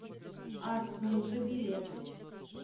артмуза билет